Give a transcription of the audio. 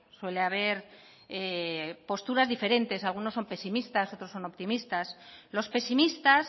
suele haber posturas diferentes algunos son pesimistas otros son optimistas los pesimistas